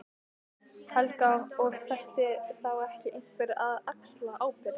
Helga: Og ætti þá ekki einhver að axla ábyrgð?